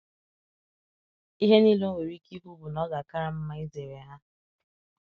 Ihe niile o nwere ike ikwu bụ na ọ ga-akara m mma izere ha.